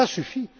Ça suffit!